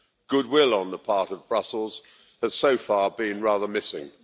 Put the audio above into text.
Goodwill on the part of Brussels has so far been rather missing.